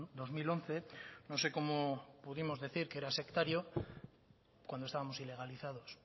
dos mil once no sé cómo pudimos decir que era sectario cuando estábamos ilegalizados